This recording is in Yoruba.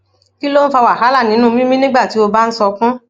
kí ló ń fa wàhálà nínú mímí nígbà tí o bá ń sunkún